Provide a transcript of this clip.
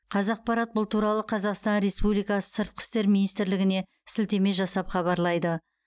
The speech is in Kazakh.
қазақпарат бұл туралы қазақстан республикасы сыртқы істер министрлігіне сілтеме жасап хабарлайды